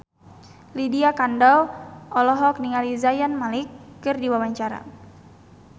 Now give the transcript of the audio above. Lydia Kandou olohok ningali Zayn Malik keur diwawancara